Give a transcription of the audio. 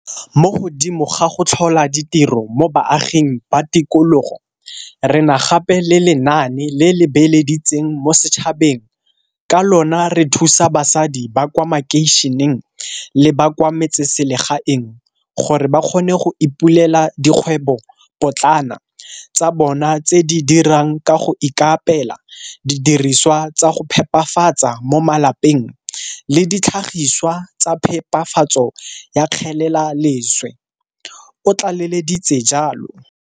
Mo godimo ga go tlhola ditiro mo baaging ba tikologo, re na gape le lenaane le le beeleditseng mo setšhabeng ka lona re thusa basadi ba kwa makeišeneng le ba kwa metseselegaeng gore ba kgone go ipulela dikgwebopotlana tsa bona tse di dirang ka go ikaapela didirisiwa tsa go phepafatsa mo malapeng le ditlhagisiwa tsa phepafatso ya kgelelaleswe, o tlaleleditse jalo.